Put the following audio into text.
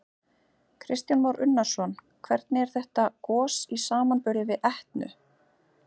Kristján Már Unnarsson: Hvernig er þetta gos í samanburði við Etnu?